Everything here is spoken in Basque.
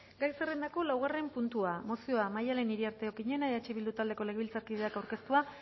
gai zerrendako laugarren puntua mozioa maialen iriarte okiñena eh bildu taldeko legebiltzarkideak aurkeztua